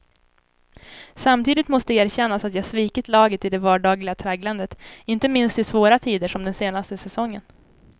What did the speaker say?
Samtidigt måste erkännas att jag svikit laget i det vardagliga tragglandet, inte minst i svåra tider som den senaste säsongen.